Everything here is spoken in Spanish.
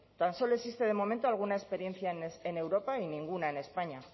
tan solo existe de momento alguna experiencia en europa y ninguna en españa